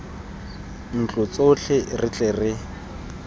ntlo tsotlhe re tle re